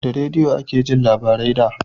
Da rediyo ake jin labarai da